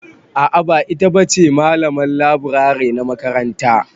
A'a ba ita ba che malaman leburare na makaranta.